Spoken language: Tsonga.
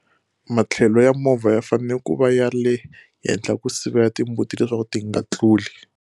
Matlhelo ya movha ya fanele ku va ya le henhla ku sivela timbuti leswaku ti nga tluli.